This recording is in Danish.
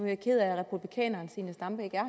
jeg ked af at republikaneren zenia stampe ikke er